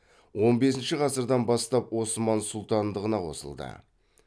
он бесінші ғасырдан бастап осман сұлтандығына қосылды